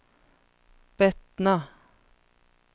Bettna